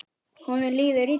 Honum líður illa.